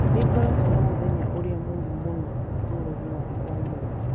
nĩ ngoretwo na mũthenya ũrĩa mũũru mũno ũtũũro-inĩ wakwa ũmũthĩ